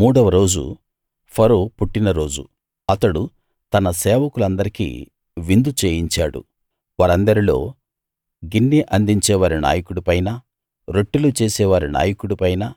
మూడవ రోజు ఫరో పుట్టినరోజు అతడు తన సేవకులందరికీ విందు చేయించాడు వారందరిలో గిన్నె అందించేవారి నాయకుడిపైనా రొట్టెలు చేసే వారి నాయకుడిపైనా